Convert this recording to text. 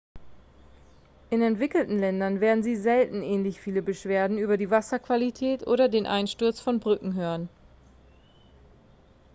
in entwickelten ländern werden sie selten ähnlich viele beschwerden über die wasserqualität oder den einsturz von brücken hören